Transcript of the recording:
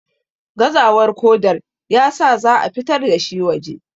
gazawar kodar ya sa za a fitar da shi waje